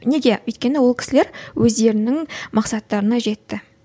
неге өйткені ол кісілер өздерінің мақсаттарына жетті